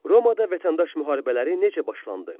Romada vətəndaş müharibələri necə başlandı?